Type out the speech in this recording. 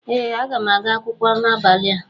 ee aga m aga akwụkwọ n'abalị a